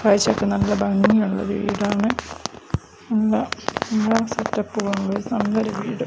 കാഴ്ചയ്ക്ക് നല്ല ഭംഗിയുള്ള ഒരു വീടാണ് നല്ല എല്ലാ സെറ്റ് അപ്പും ഉള്ള നല്ലൊരു വീട്